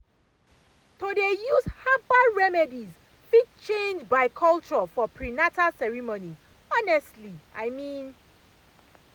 to dey use herbal remedies fit change by culture for prenatal ceremonies honestly i mean